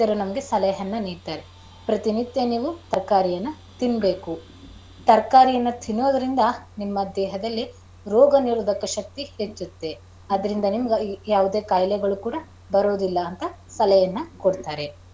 ಸಲಹೆಯನ್ನ ನೀಡ್ತಾರೆ ಪ್ರತಿನಿತ್ಯ ನೀವು ತರಕಾರಿಯನ್ನ ತಿನ್ನಬೇಕು. ತರಕಾರಿಯನ್ನ ತಿನ್ನೋದರಿಂದ ನಿಮ್ಮ ದೇಹದಲ್ಲಿ ರೋಗನಿರೋಧಕ ಶಕ್ತಿ ಹೆಚ್ಚುತ್ತೆ. ಅದರಿಂದ ನಿಮಗೆ ಯಾವುದೇ ಕಾಯಿಲೆಗಳು ಕೂಡ ಬರೋದಿಲ್ಲ ಅಂತ ಸಲಹೆಯನ್ನ ಕೊಡ್ತಾರೆ.